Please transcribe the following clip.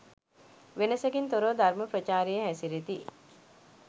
වෙනසකින් තොරව ධර්ම ප්‍රචාරයේ හැසිරෙති.